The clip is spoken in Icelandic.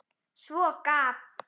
Svo gaf